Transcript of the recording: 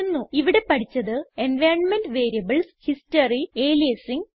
ഇവിടെ പഠിച്ചത് environment variables history aliasing